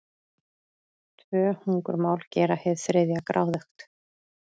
Tvö hungurmál gera hið þriðja gráðugt.